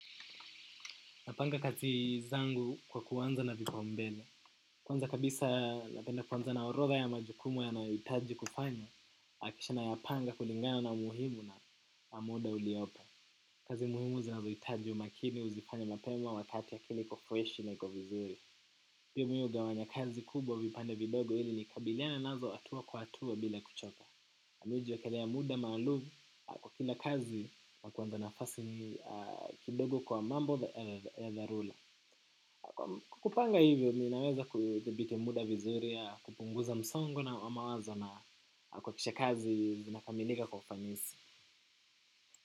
Napanga kazi zangu kwa kuanza na vipaumbele. Kwanza kabisa napenda kuanza na orodha ya majukumu yanayohitaji kufanywa. Nahakikisha nayapanga kulingana na umuhimu na muda uliopo. Kazi muhimu zinazohitaji umakini, uzifanya mapema, wakati akili iko freshi na iko vizuri. Pia mimi hugawanya kazi kubwa vipande vidogo ili nikabiliane nazo hatua kwa hatua bila kuchoka. Mi hujiwekelea muda maalumu kwa kila kazi nakuanza nafasi kidogo kwa mambo ya dharula. Kupanga hivyo, ninaweza kudhibiti muda vizuri, kupunguza msongo na mawazo na kuhakikisha kazi zinakamilika kwa ufanisi.